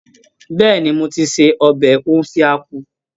Bẹ́ẹ̀ni, mo ti se ọbẹ̀ Ofe Akwu